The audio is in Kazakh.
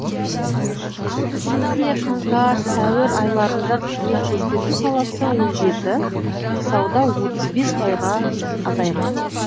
әсіресе қаңтар сәуір айларында қызмет көрсету саласы он жеті сауда отыз бес пайызға азайған